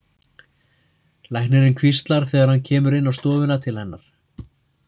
Læknirinn hvíslar þegar hann kemur inn á stofuna til hennar.